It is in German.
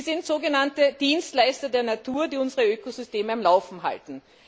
Sie sind sogenannte Dienstleister der Natur, die unser Ökosystem am Laufen halten.